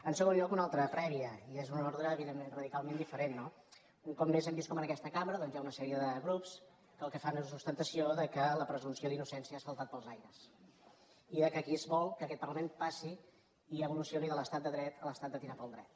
en segon lloc una altra prèvia i és una ordre evident·ment radicalment diferent no un cop més hem vist com en aquesta cambra hi ha una sèrie de grups que el que fan és ostentació que la presumpció d’innocència ha saltat pels aires i que aquí es vol que aquest par·lament passi i evolucioni de l’estat de dret a l’estat de tirar pel dret